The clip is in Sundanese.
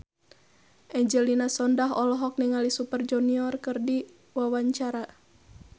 Angelina Sondakh olohok ningali Super Junior keur diwawancara